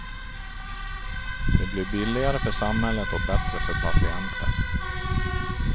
Det blir billigare för samhället och bättre för patienten.